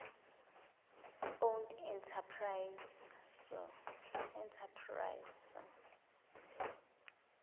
owned enterprises soe